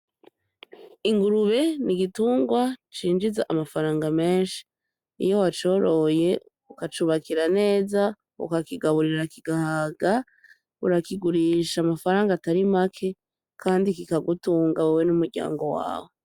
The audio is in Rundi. Ingurube n'igintungwa cinjiza amafaranga menshi, iyo wacoroye ukacubakira neza ukakigaburira kigahaga. Urakigurisha amafaranga atari make kandi kikagutunga wewe n'umuryango wawe.